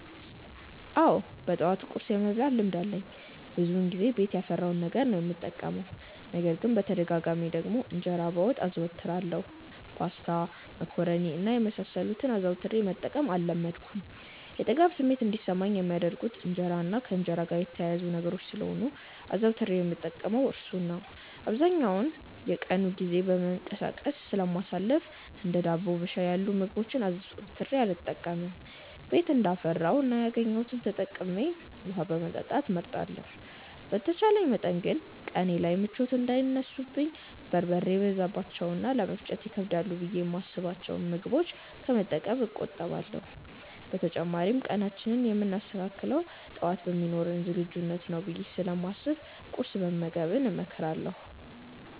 አዎ በጠዋት ቁርስ የመብላት ልማድ አለኝ። ብዙውን ጊዜ ቤት ያፈራውን ነገር ነው የምጠቀመው። ነገር ግን በተደጋጋሚ ደግሞ እንጀራ በወጥ አዘወትራለሁ። ፓስታ፣ መኮሮኒ እና የመሳሰሉትን አዘውትሬ መጠቀም አልለመድኩም። የጥጋብ ስሜት እንዲሰማኝ የሚያደርጉት እንጀራ እና ከእንጀራ ጋር የተያያዙ ነገሮች ስለሆኑ አዘውትሬ የምጠቀመው እርሱን ነው። አብዛኛውን የቀኑን ጊዜ በመንቀሳቀስ ስለማሳልፍ እንደ ዳቦ በሻይ ያሉ ምግቦችን አዘውትሬ አልጠቀምም። ቤት እንዳፈራው እና ያገኘሁትን ተጠቅሜ ውሀ መጠጣት እመርጣለሁ። በተቻለ መጠን ግን ቀኔ ላይ ምቾት እንዳይነሱኝ በርበሬ የበዛባቸውን እና ለመፈጨት ይከብዳሉ ብዬ የማስብቸውን ምግቦች ከመጠቀም እቆጠባለሁ። በተጨማሪም ቀናችንን የምናስተካክለው ጠዋት በሚኖረን ዝግጁነት ነው ብዬ ስለማስብ ቁርስ መመገብን እመክራለሁ።